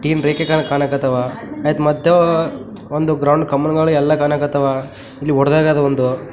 Teen ರೇಖೆಗಳು ಕಣಕ್ ಹತ್ತವ ಐತ ಮದ್ದೋ ಒಂದ್ ಗ್ರೌಂಡ್ ಕಂಬನೊಳಗೆ ಎಲ್ಲ ಕಣಕ್ ಹತ್ತವ ಇಲ್ಲಿ ಒದ್ಡಹೊಗ್ಯಾದ ಒಂದು .